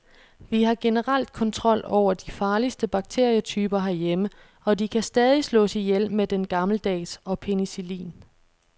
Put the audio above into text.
Vi har generelt kontrol over de farligste bakterietyper herhjemme, og de kan stadig slås ihjel med den gammeldags og penicillin.